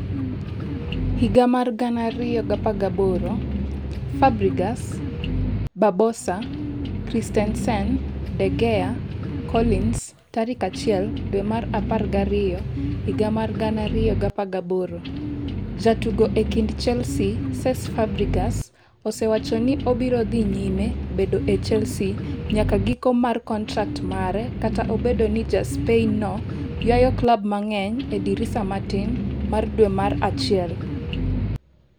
2018: Fabregas, Barbosa, Christensen, De Gea, Collins 1 dwe mar apar gi ariyo higa mar 2018: Jatugo e kind Chelsea Cesc Fabreagas osewacho ni obiro dhi nyime bedo e Chelsea nyaka giko mar kontrak mare kata obedo ni ja Spain no ywayo klab mang'eny e dirisa matin mar dwe mar achiel.